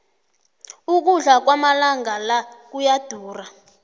ukudla kwamalanga la kuyadura